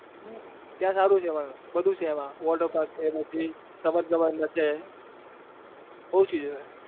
ત્યાં સારું છે પણ બધું છે એમાં water park છે પછી રમત ગમત છે.